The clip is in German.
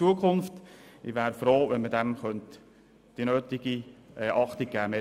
Ich wäre froh, wenn diesem die nötige Beachtung geschenkt werden könnte.